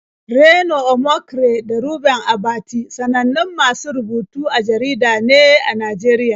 Reno Omokri da Reuben Abati sanannun masu rubutu a jarida ne a Najeriya.